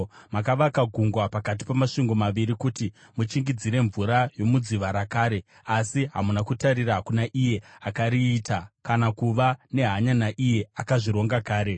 Makavaka gungwa pakati pamasvingo maviri, kuti muchingidzire mvura yomudziva rakare, asi hamuna kutarira kuna Iye akariita, kana kuva nehanya naIye akazvironga kare.